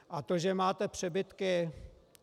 A to, že máte přebytky.